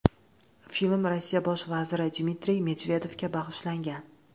Film Rossiya bosh vaziri Dmitriy Medvedevga bag‘ishlangan.